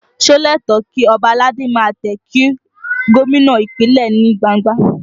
Ṣé ó lẹ́tọ̀ọ̀ kí ọba aládé ó máa tẹ̀ kí gómìnà Ìpínlẹ̀ ní gbangba?